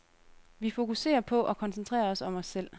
Vi fokuserer på og koncentrerer os om os selv.